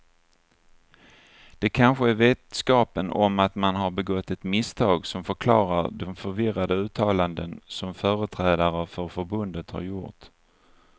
Det kanske är vetskapen om att man har begått ett misstag som förklarar de förvirrade uttalanden som företrädare för förbundet har gjort.